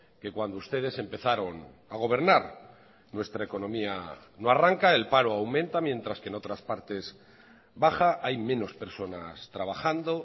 que cuando ustedes empezaron a gobernar nuestra economía no arranca el paro aumenta mientras que en otras partes baja hay menos personas trabajando